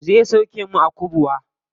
Zai sauke mu a kubwa.